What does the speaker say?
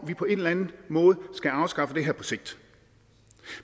vi på en eller anden måde skal afskaffe det her på sigt